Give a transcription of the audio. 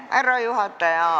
Härra juhataja!